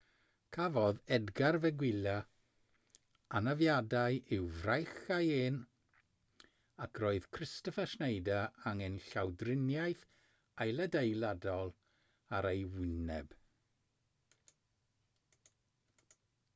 cafodd edgar veguilla anafiadau i'w fraich a'i ên ac roedd kristoffer schneider angen llawdriniaeth ailadeiladol ar ei wyneb